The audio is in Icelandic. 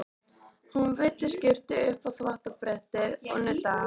Hún veiddi skyrtu upp á þvottabrettið og nuddaði hana.